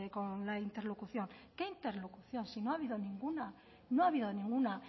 con la interlocución qué interlocución si no ha habido ninguna no ha habido ninguna